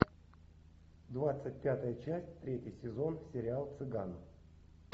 двадцать пятая часть третий сезон сериал цыган